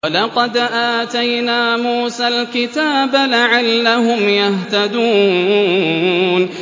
وَلَقَدْ آتَيْنَا مُوسَى الْكِتَابَ لَعَلَّهُمْ يَهْتَدُونَ